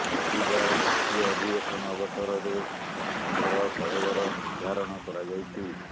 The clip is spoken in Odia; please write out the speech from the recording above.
ରବିବାର ଦ୍ବିତୀୟ ଅଧିବେଶନ ଅବସରରେ ସଙ୍ଘର କଳେବର ନିର୍ଧାରଣ କରାଯାଇଛି